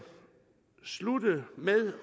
slutte med